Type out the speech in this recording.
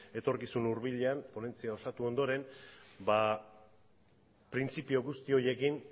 etorkizun hurbilean ponentzia osatu ondoren printzipio guzti horiekin